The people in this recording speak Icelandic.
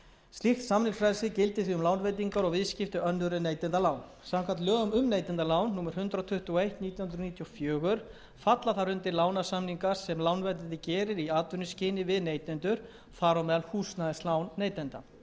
slíkt samningsfrelsi gildir því um lánveitingar og viðskipti önnur en neytendalán samkvæmt lögum um neytendalán númer hundrað tuttugu og eitt nítján hundruð níutíu og fjögur falla þar undir lánasamningar sem lánveitandi gerir í atvinnuskyni við neytendur þar á meðal húsnæðislán neytenda þá komu